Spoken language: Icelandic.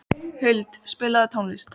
Skúla, spilaðu lagið „Rómeó og Júlía“.